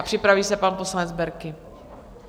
A připraví se pan poslanec Berki.